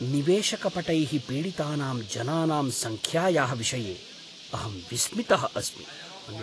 निवेशकपटैः पीडितानां जनानां सङ्ख्यायाः विषये अहं विस्मितः अस्मि।